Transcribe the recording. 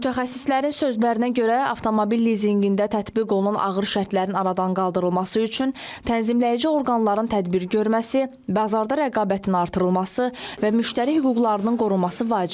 Mütəxəssislərin sözlərinə görə avtomobil lizinqində tətbiq olunan ağır şərtlərin aradan qaldırılması üçün tənzimləyici orqanların tədbir görməsi, bazarda rəqabətin artırılması və müştəri hüquqlarının qorunması vacibdir.